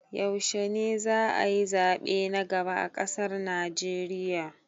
Yaushe ne za'a yi zaɓe na gaba a ƙasar Naijeriya?